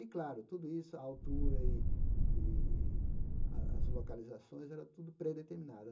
E, claro, tudo isso, a altura e e as as localizações, era tudo predeterminada.